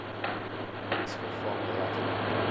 niks vervang regte